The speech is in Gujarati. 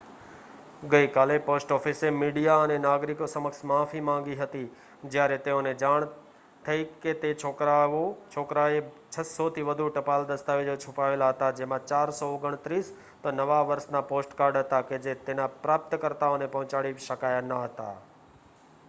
ગઈકાલે પોસ્ટ ઓફિસે મીડિયા અને નાગરિકો સમક્ષ માફી માંગી હતી જ્યારે તેઓને જાણ થઈ કે તે છોકરાએ 600 થી વધુ ટપાલ દસ્તાવેજો છુપાવેલા હતા જેમાં 429 તો નવા વર્ષના પોસ્ટકાર્ડ હતા કે જે તેના પ્રાપ્તકર્તાઓને પહોંચાડી શકાયા ન હતા